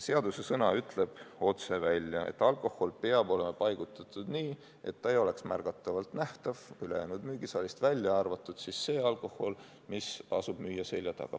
Seadusesõna ütleb otse välja, et alkohol peab olema paigutatud nii, et ta ei oleks märgatavalt nähtav ülejäänud müügisaalist, välja arvatud see alkohol, mis asub müüja selja taga.